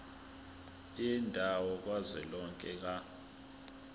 yendawo kazwelonke ka